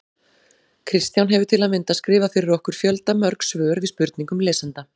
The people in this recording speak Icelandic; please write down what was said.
Kristján hefur til að mynda skrifað fyrir okkur fjöldamörg svör við spurningum lesenda.